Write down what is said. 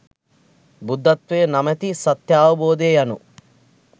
බුද්ධත්වය නමැති සත්‍යාවබෝධය යනු